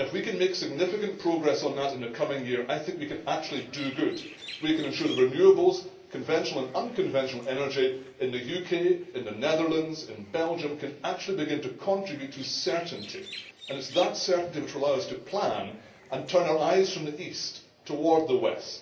If we can make significant progress on that in the coming year, I think we can actually do good. We can ensure that renewables, conventional and unconventional energy, in the UK, in the Netherlands, in Belgium can actually begin to contribute to certainty, and it is that certainty which will allow us to plan and turn our eyes from the east towards the west.